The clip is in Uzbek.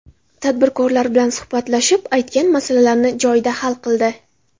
Tadbirkorlar bilan suhbatlashib, aytgan masalalarini joyida hal qildi.